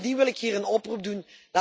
Bovendien wil ik hier een oproep doen.